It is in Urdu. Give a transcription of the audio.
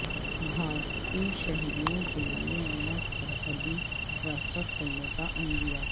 بھارتی شہریوں کے لیے نیا سرحدی راستہ کھولنے کا عندیہ